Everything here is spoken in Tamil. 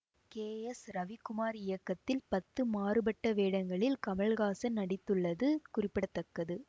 கே எஸ் ரவிக்குமார் இயக்கத்தில் பத்து மாறுபட்ட வேடங்களில் கமல்ஹாசன் நடித்துள்ளது குறிப்பிட தக்கது